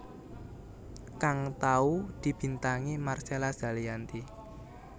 kang tau dibintangi Marcella Zalianty